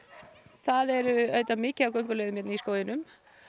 það er auðvitað mikið af gönguleiðum í skóginum